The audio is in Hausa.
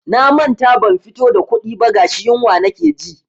Na manta ban fito da kuɗi ba gashi yunwa nake ji.